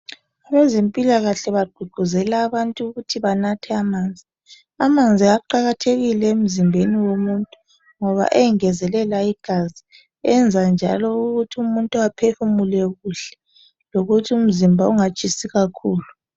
Kwezempilakahle bagqugquzela abantu ukuthi banathe amanzi, amanzi aqakathekile emzimbeni womuntu ngoba engezelela igazi enza njalo ukuthi umuntu aphefumule kuhle lokuthi umzimba ungatshisi kakhulu